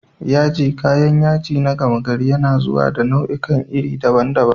Yaji, kayan yaji na gama gari, yana zuwa da nau'ikan iri daban-daban